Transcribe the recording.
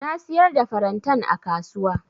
Na siyar da farantan a kasuwa.